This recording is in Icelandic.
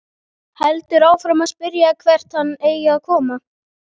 Heldur áfram að spyrja hvert hann eigi að koma.